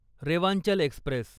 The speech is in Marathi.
रेवांचल एक्स्प्रेस